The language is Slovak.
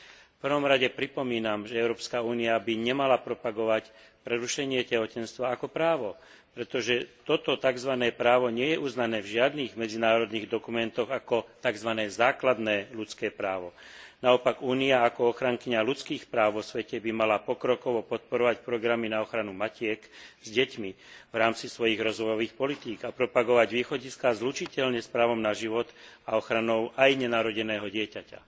V prvom rade pripomínam, že Európska únia by nemala propagovať prerušenie tehotenstva ako právo, pretože toto takzvané právo nie je uznané v žiadnych medzinárodných dokumentoch ako takzvané základné ľudské právo. Naopak Únia ako ochrankyňa ľudských práv vo svete by mala pokrokovo podporovať programy na ochranu matiek s deťmi v rámci svojich rozvojových politík a propagovať východiská zlučiteľné s právom na život a ochranu aj nenarodeného dieťaťa.